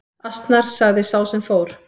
Asnar sagði sá sem fór.